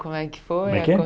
Como é que foi? Como é que é